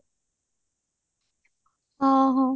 ଅ ହଁ